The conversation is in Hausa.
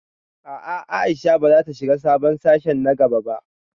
A'a Aisha bazata shiga sabon sashe na gaba ba